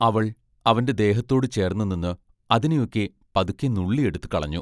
അവൾ അവന്റെ ദേഹത്തോടു ചേർന്നുനിന്ന് അതിനെയൊക്കെ പതുക്കെ നുള്ളി എടുത്തു കളഞ്ഞു.